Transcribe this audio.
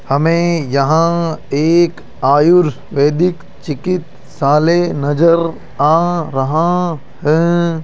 हमें यहां एक आयुर्वेदिक चिकित्सालय नजर आ रहा हैं।